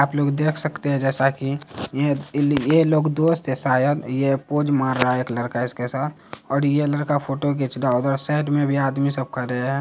आप लोग देख सकते है जैसा की ये लोग दोस्त है शायद ये पोज मारा रहा हैं एक लड़का इसके साथ ये लड़का फोटो खिच रहा है उधर साइड में भी आदमी सब खड़े है।